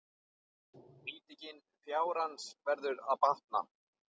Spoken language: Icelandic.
Nýting fjárins verður að batna.